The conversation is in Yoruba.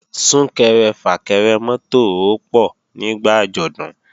Sún-kẹrẹ-fà-kẹrẹ mọ́tò ó pọ̀ nígbà àjọ̀dún